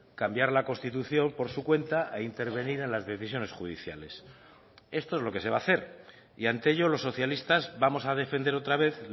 cambiar la constitución por su cuenta e intervenir en las decisiones judiciales esto es lo que se va a hacer y ante ello los socialistas vamos a defender otra vez